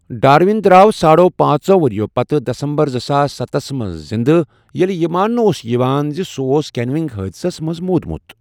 Darwin درٛاو ساڑو پانٛژو ؤریٚو پتہٕ دسمبرزٕساس ستسَ منٛز زِنٛدٕ، ییٚلہِ یہِ ماننہٕ اوس یِوان زِ سُہ اوس کینوئنگ حادثس منٛز موٗدمُت۔